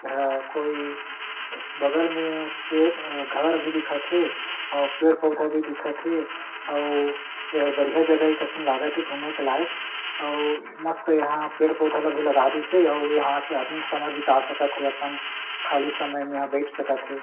एहा कोई बगल में पेड़ अअअ घर भी दिखत हे अउ पेड़-पउधा भी दिखत हे अउ एहा बढ़िया जगह के कसन लागत हे घूमे के लायक अउ मस्त यहाँ पेड़-पउधा ल भी लगा दिस हे अउ यहाँ आदमी समय बिता सकत हे अपन खाली समय में यहाँ बईठ सकत हे।